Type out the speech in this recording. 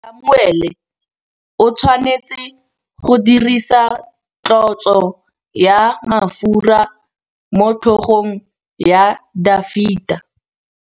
Samuele o tshwanetse go dirisa tlotsô ya mafura motlhôgong ya Dafita.